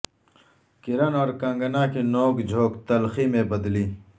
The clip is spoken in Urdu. کرن اور کنگنا کی نوک جھوک تلخی میں تبدیل